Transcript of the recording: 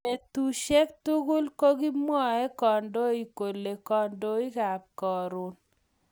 Betusiek tugul kokimwoei kandoik kole kandoikab Karon